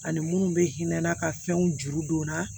Ani munnu bɛ hinɛ n'a ka fɛnw juru don n na